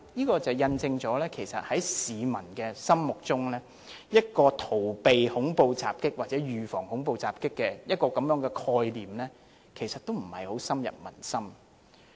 然而，這印證了在市民的心目中，逃避恐怖襲擊或預防恐怖襲擊的概念，其實並不太深入民心。